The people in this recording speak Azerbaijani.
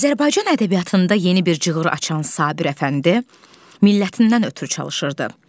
Azərbaycan ədəbiyyatında yeni bir cığır açan Sabir Əfəndi millətindən ötrü çalışırdı.